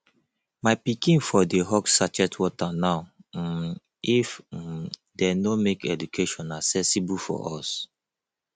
my pikin for dey hawk sachet water now um if um dey no make education accessible for us